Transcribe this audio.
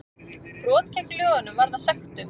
Brot gegn lögunum varða sektum